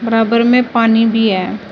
बराबर में पानी भी है।